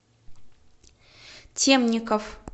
темников